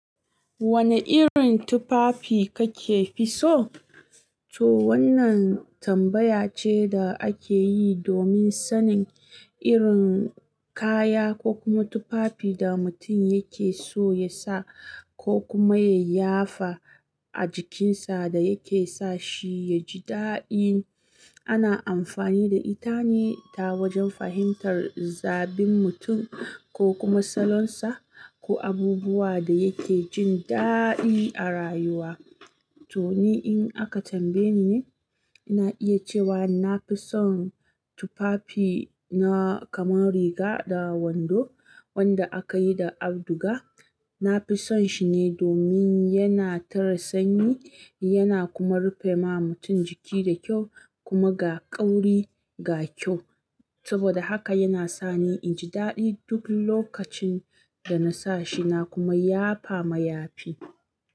Wane irin tufafi kake fi so? To wannan tambaya ce da ake yi domin sanin irin kaya ko kuma tufafi da mutum yake so ya sa ko kuma ya yafa a jikinsa da yake sa shi ya ji daɗi. Ana amfani da ita ne ta wajen fahimtar zabin mutum ko kuma salon sa ko abubuwa da yake jin daɗi a rayuwa. To ni in aka tambaye ni, ina iya cewa na fi son tufafi na kamar riga da wando wanda aka yi da auduga. Na fi son shi ne domin yana tare sanyi yana kuma rufe ma mutum jiki da kyau kuma ga kauri ga kyau. Saboda haka yana sa ni in ji daɗi duk lokacin da na sa shi na kuma yafa mayafi.